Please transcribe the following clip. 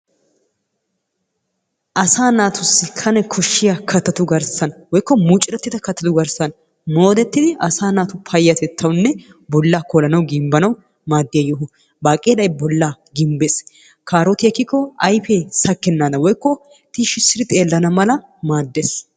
asa naatussi kane koshshiya kattatu garssan woykko muccurettida kattatu garssan moodetidi asa naatu payatettawunne bolla koolanawu gimbbanaw maaddiyaa yoho, baaqeelay bollaa gimbbees, kaarotiyaa ekkiko ayfee sakkenadan woykko tishshidi xeellana mala maaddees.